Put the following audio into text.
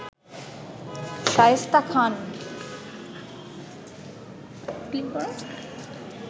Shaista Khan